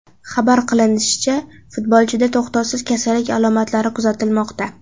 Xabar qilinishicha, futbolchida to‘xtovsiz kasallik alomatlari kuzatilmoqda.